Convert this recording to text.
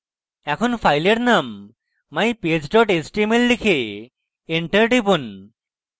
এখন file name mypage html লিখে enter টিপুন